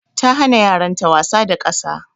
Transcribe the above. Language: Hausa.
Ta hana yaran ta wasa da ƙasa.